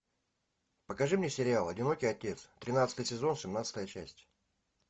покажи мне сериал одинокий отец тринадцатый сезон семнадцатая часть